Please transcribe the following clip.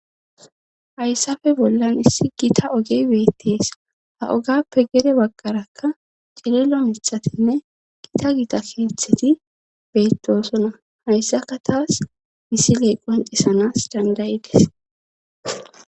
Hayssafe bollan issi gita oge beettees ha ogappe gere bagqarakka cililo mithatinne gita gita keetheti beettosona hayssaka taas misiley qoncisanas dandayides.